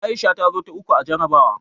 Aisha ta zo ta uku a jarabawa.